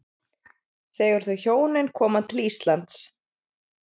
Þegar þau hjónin koma til Íslands